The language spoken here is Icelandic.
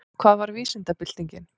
Hvað var vísindabyltingin?